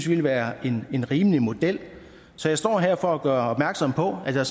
ville være en rimelig model så jeg står her for at gøre opmærksom på at der